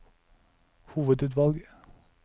hovedutvalg